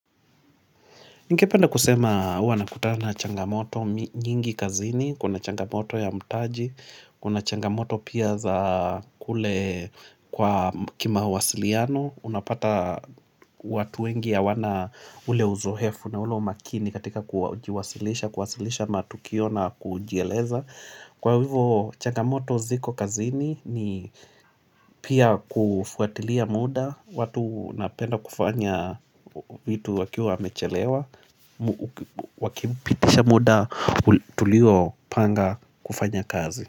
Ningependa kusema huwa nakuta na changamoto nyingi kazini, kuna changamoto ya mutaji, kuna changamoto pia za kule kwa kimawasiliano, unapata watu wengi hawana ule uzoefu na ule umakini katika kuwasilisha, kuwasilisha matukio na kujieleza. Kwa hivyo changamoto ziko kazini ni pia kufuatilia muda watu wanapenda kufanya vitu wakiwa wamechelewa Wakipitisha muda tuliopanga kufanya kazi.